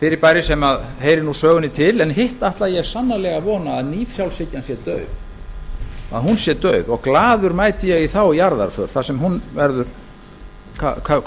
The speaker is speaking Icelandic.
fyrirbæri sem heyri nú sögunni til en hitt ætla ég sannarlega að vona að nýfrjálshyggjan sé dauð og glaður mæti ég í þá jarðarför þar sem hún verður